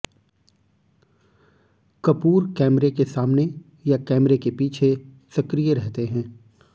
कपूर कैमरे के सामने या कैमरे के पीछे सक्रिय रहते हैं